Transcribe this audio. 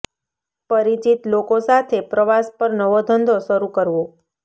પરિચિત લોકો સાથે પ્રવાસ પર નવો ધંધો શરૂ કરવો